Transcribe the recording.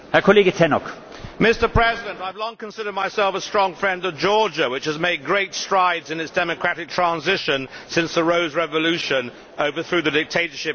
Mr President, I have long considered myself a strong friend of Georgia, which has made great strides in its democratic transition since the Rose Revolution overthrew the dictatorship about ten years ago.